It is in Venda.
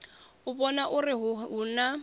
u vhona uri hu na